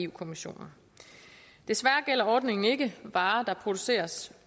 kommissionen desværre gælder ordningen ikke varer der produceres